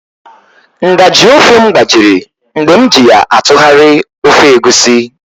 Nga/ji ofe m gbajiri mgbe m ji ya atụgharịa ofe Egusi